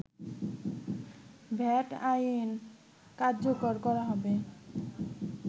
VAT আইন কার্যকর করা হবে